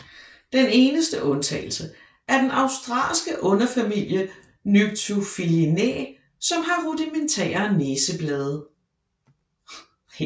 Den eneste undtagelse er den australske underfamilie Nyctophilinae som har rudimentære næseblade